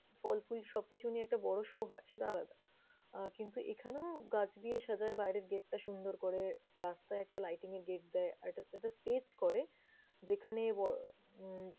ফলফুল সব কিছু নিয়ে একটা বড় show হয় সেটা আলাদা আহ কিন্তু এখানেও গাছ দিয়ে সাজায় বাইরের gate টা সুন্দর করে। রাস্তায় একটা lighting এর gate দেয় আর এটা~ একটা stage করে যেখানে ব উম